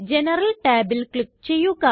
general tabല് click ചെയ്യുക